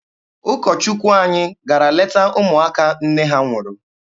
Ụkọ Chukwu anyị gara leta ụmụaka nne ha nwụrụ.